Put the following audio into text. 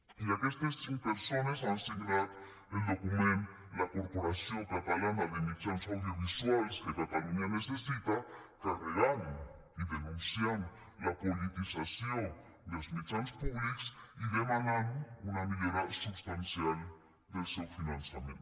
i aquestes cinc persones han signat el document la corporació catalana de mitjans audiovisuals que catalunya necessita carregant i denunciant la politització dels mitjans públics i demanant una millora substancial del seu finançament